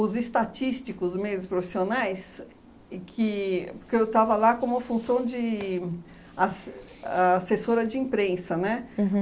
os estatísticos, os meios profissionais, e que porque eu estava lá como função de ass assessora de imprensa, né? Uhum